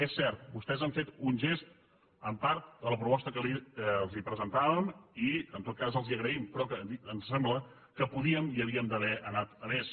és cert vostès han fet un gest en part de la proposta que els presentàvem i en tot cas els ho agraïm però ens sembla que podíem i havíem d’haver anat a més